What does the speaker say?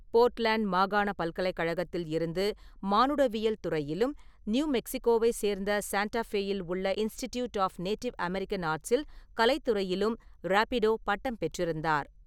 Portland மாகாணப் பல்கலைக் கழகத்தில் இருந்து மானுடவியல் துறையிலும் நியூ மெக்ஸிகோவைச் சேர்ந்த சாண்டா ஃபேயில் உள்ள இன்ஸ்டிட்யூட் ஆஃப் நேட்டிவ் அமெரிக்கன் ஆர்ட்ஸில் கலைத் துறையிலும் ராபிடோ பட்டம் பெற்றிருந்தார்.